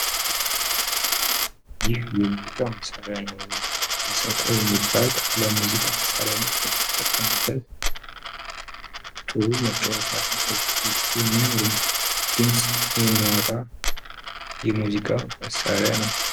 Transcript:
ይህ የሙዚቃ መሳሪያ ነው። መሰንቆ የሚባል ለሙዚቃ መሳርያነት የምንጠቀምበት ጥሩ መጫወቻ እና የሚያምር ድምፅ የሚያወጣ የሙዚቃ መሳሪያ ነው።